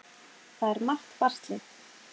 Það er margt baslið.